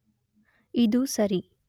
ಇದು ಸೇರಿ